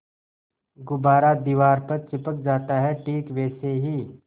गुब्बारा दीवार पर चिपक जाता है ठीक वैसे ही